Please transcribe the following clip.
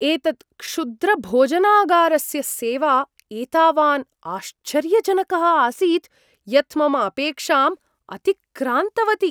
एतत् क्षुद्रभोजनागारस्य सेवा एतावान् आश्चर्यजनकः आसीत् यत् मम अपेक्षाम् अतिक्रान्तवती!